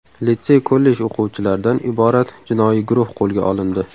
Litsey-kollej o‘quvchilardan iborat jinoiy guruh qo‘lga olindi.